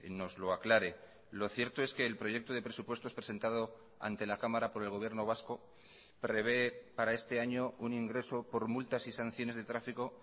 nos lo aclare lo cierto es que el proyecto de presupuestos presentado ante la cámara por el gobierno vasco prevé para este año un ingreso por multas y sanciones de tráfico